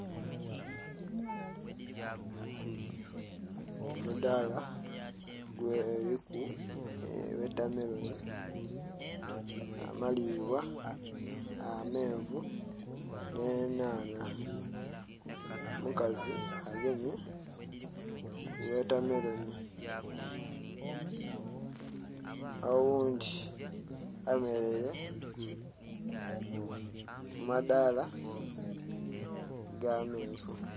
Omudhala giliku wotamelonhi, amalibwa, amenvu nhe nhanha, omukazi agemye wotamelonhi oghundhi ayemereire ku madhala aga menvu.